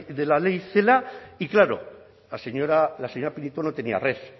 de la ley celaá y claro la señora pinito no tenía red